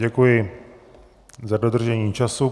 Děkuji za dodržení času.